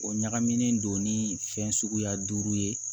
O ɲagaminen don ni fɛn suguya duuru ye